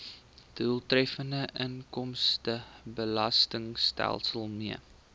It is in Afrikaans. doeltreffende inkomstebelastingstelsel mee